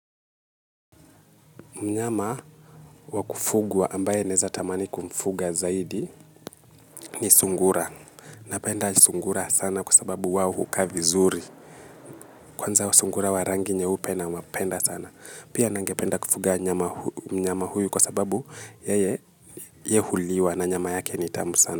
Mnyama wa kufugwa ambaye naeza tamani kumfuga zaidi ni sungura. Napenda sungura sana kwa sababu wao hukaa vizuri. Kwanza sungura wa rangi nyeupe nawapenda sana. Pia ningependa kufuga mnyama huyu kwa sababu yeye ye huliwa na nyama yake ni tamu sana.